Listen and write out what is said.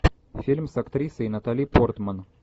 фильм с актрисой натали портман